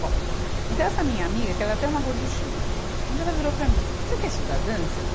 Bom, então essa minha amiga, que ela é até uma gorduchinha, um dia ela virou para mim, você quer estudar dança?